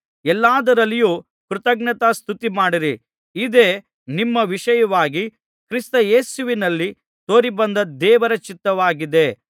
ಎಲ್ಲಾದರಲ್ಲಿಯೂ ಕೃತಜ್ಞತಾಸ್ತುತಿಮಾಡಿರಿ ಇದೇ ನಿಮ್ಮ ವಿಷಯವಾಗಿ ಕ್ರಿಸ್ತ ಯೇಸುವಿನಲ್ಲಿ ತೋರಿಬಂದ ದೇವರ ಚಿತ್ತವಾಗಿದೆ